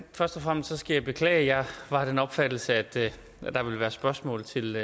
først og fremmest skal jeg beklage jeg var af den opfattelse at der ville være spørgsmål til